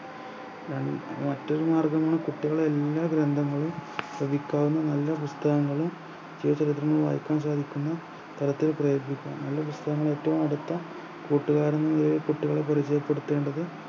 ഏർ മറ്റൊരു മാർഗമാണ് കുട്ടികൾ എല്ലാ ഗ്രന്ഥങ്ങളും നല്ല പുസ്‌തകങ്ങളും ജീവ ചരിത്രങ്ങളും വായിക്കാൻ സാധിക്കുന്ന തരത്തിൽ പ്രയത്‌നിക്കാം നല്ല പുസ്‌തകങ്ങൾ ഏറ്റവും അടുത്ത കൂട്ടുകാരൻ എന്ന നിലയിലെക്ക് കുട്ടികളെ പരിചയപ്പെടുത്തേണ്ടത്